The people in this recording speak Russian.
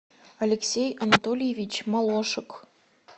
алексей анатольевич молошек